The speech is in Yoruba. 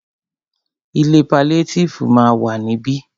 Ilé paliétífù ma wà ní ibí.